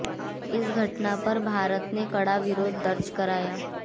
इस घटना पर भारत ने कड़ा विरोध दर्ज कराया